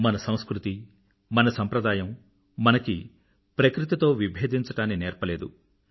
మన సంస్కృతి మన సంప్రదాయం మనకి ప్రకృతితో విబేధించడాన్ని నేర్పలేదు